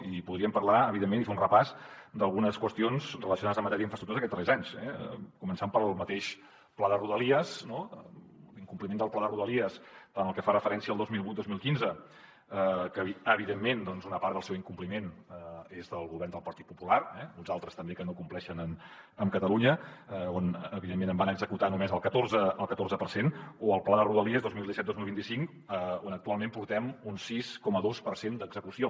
i podríem parlar evidentment i fer un repàs d’algunes qüestions relacionades en matèria d’infraestructures d’aquests darrers anys eh començant pel mateix pla de rodalies no l’incompliment del pla de rodalies tant el que fa referència al dos mil vuit dos mil quinze que evidentment doncs una part del seu incompliment és del govern del partit popular eh uns altres també que no compleixen amb catalunya on evidentment en van executar només el catorze per cent o el pla de rodalies dos mil disset dos mil vint cinc on actualment portem un sis coma dos per cent d’execució